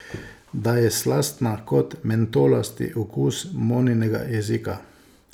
Da je slastna kot mentolasti okus Moninega jezika.